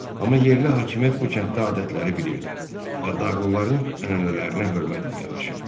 Amma yerli hakimiyyət bu kənddə adətləri bilirdi və dağlıların ənənələrinə hörmətlə yanaşırdı.